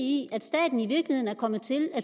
i at staten i virkeligheden er kommet til at